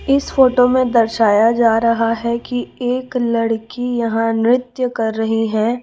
इस फोटो में दर्शाया जा रहा है की एक लड़की यहां नृत्य कर रही है।